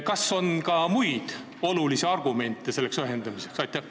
Kas on ka muid olulisi argumente selleks ühendamiseks?